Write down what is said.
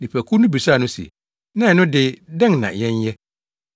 Nnipakuw no bisaa no se, “Na ɛno de, dɛn na yɛnyɛ?”